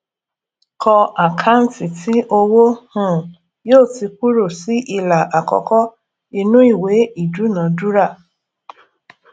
kọ àkáǹtì tí owó um yóò ti kúrò sí ìlà àkọkọ ìnú ìwé idúnadúrà